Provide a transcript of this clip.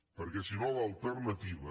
perquè si no l’alternativa